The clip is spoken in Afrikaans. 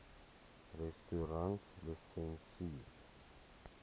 restaurantlisensier